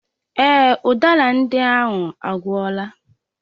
Èè, udara ndị ahụ agwụla.